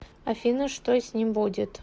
афина что с ним будет